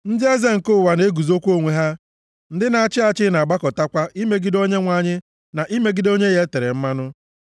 Ndị eze nke ụwa na-eguzokwa onwe ha, ndị na-achị achị na-agbakọtakwa imegide Onyenwe anyị na imegide Onye ya e tere mmanụ.